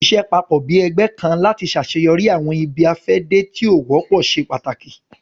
Ṣiṣẹ papọ bi ẹgbẹ kan lati ṣaṣeyọri awọn ibi-afẹde ti o wọpọ ṣe pàtàkì